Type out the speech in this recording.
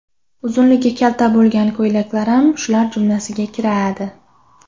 Uzunligi kalta bo‘lgan ko‘ylaklar ham shular jumlasiga kiradi.